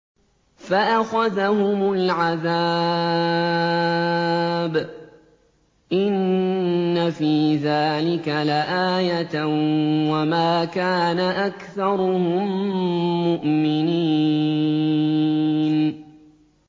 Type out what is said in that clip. فَأَخَذَهُمُ الْعَذَابُ ۗ إِنَّ فِي ذَٰلِكَ لَآيَةً ۖ وَمَا كَانَ أَكْثَرُهُم مُّؤْمِنِينَ